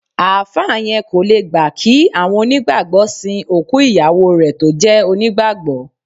Àáfà yẹn kò le gbà kí àwọn onígbàgbọ́ sìn òkú ìyàwó rẹ tó jẹ́ onígbàgbọ́